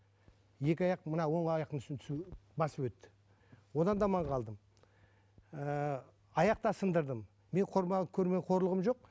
екі аяқ мына оң аяқтың үстіне басып өтті одан да аман қалдым ыыы аяқ та сындырдым менің көрмеген қорлығым жоқ